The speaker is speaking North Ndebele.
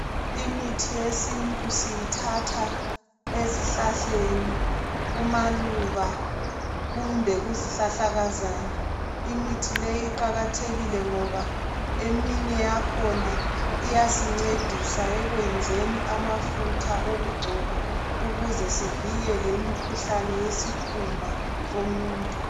Imithi yesintu siyithatha ezihlahleni, kumaluba. Kumbe kukuzihlahlakazana lmithi leyi iqakathekile ngoba eminye yakhona iyasincedisa ekwenzeni amafutha okugcoba, ukuze sivikele imikhuhlane yesikhumba somuntu.